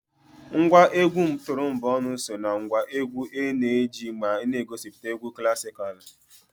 Ngwa egwu turomboonu so na ngwa egwu a na-eji mgbe a na-egosipụta egwu klasikalụ.